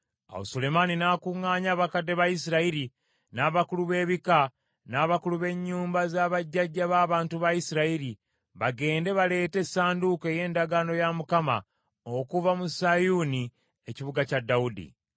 Awo Sulemaani n’akuŋŋaanya abakadde ba Isirayiri, n’abakulu b’ebika, n’abakulu b’ennyumba za bajjajja b’abantu ba Isirayiri bagende baleete essanduuko ey’endagaano ya Mukama okuva mu Sayuuni, ekibuga kya Dawudi.